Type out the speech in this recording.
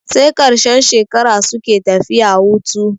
Sai ƙarshen shekara suke tafiya hutu.